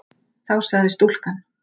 Þá sagði stúlkan